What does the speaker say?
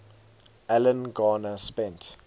alan garner spent